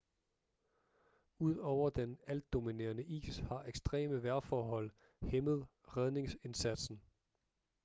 ud over den altdominerende is har ekstreme vejrforhold hæmmet redningsindsatsen